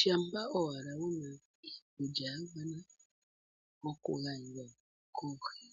Shampa owala wuna iikulya ya gwana oku gandja koohi.